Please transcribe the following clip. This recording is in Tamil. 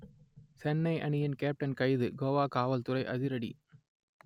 சென்னை அணியின் கேப்டன் கைது கோவா காவல் துறை அதிரடி